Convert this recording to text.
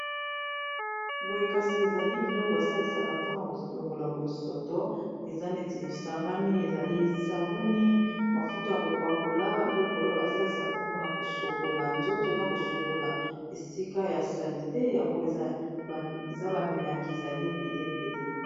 boyekasi ezali biloko basalisaka mpona kolongola bosoto eza neti esangani ezali esabuni mafuto ya kopakola biloko oyo basalisaka mpona kosokola nzoto na kosokola esika ya sali te yango eza bamilangi ezali ebele ebele